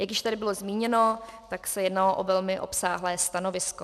Jak již tady bylo zmíněno, tak se jednalo o velmi obsáhlé stanovisko.